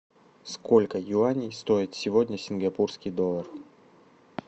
сколько юаней стоит сегодня сингапурский доллар